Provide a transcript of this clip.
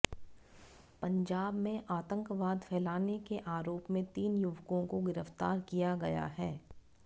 पंजाब में आतंकवाद फैलाने के आरोप में तीन युवकों को गिरफ्तार किया गया है